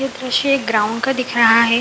ये दृश्य एक ग्राउंड का दिख रहा है।